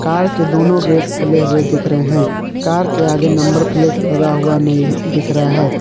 Car के दोनों gate खुले हुए दिख रहे हैं कार के आगे नंबर प्लेट लगा हुआ नहीं दिख रहा है।